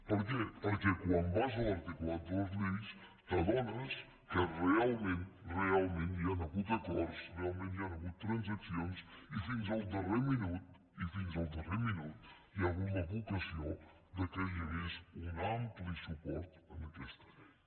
per què perquè quan vas a l’articulat de les lleis t’adones que realment realment hi han hagut acords realment hi han hagut transaccions i fins al darrer minut hi ha hagut la vocació que hi hagués un ampli suport en aquesta llei